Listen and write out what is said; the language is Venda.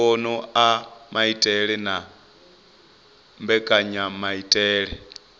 mbono a maitele na mbekanyamaitele